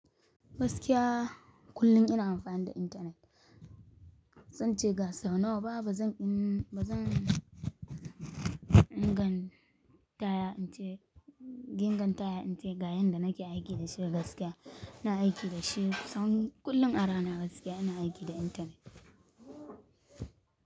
Gaskiya kullum ina amfani da internet. Zan ce gasau nawa, ba zan in, ba zan ingan taya in ce, gingan taya in ce ga yanda nake aiki da shi gaskiya. Ina aiki da shi, tsawan kullum arana gaskiya ina aiki da internet.